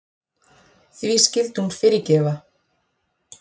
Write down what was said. Því skyldi hún fyrirgefa?